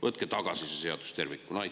Võtke tagasi see seadus tervikuna!